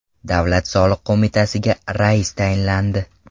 Davlat soliq qo‘mitasiga rais tayinlandi.